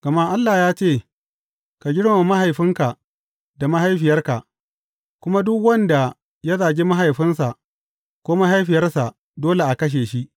Gama Allah ya ce, Ka girmama mahaifinka da mahaifiyarka, kuma duk wanda ya zagi mahaifinsa ko mahaifiyarsa dole a kashe shi.’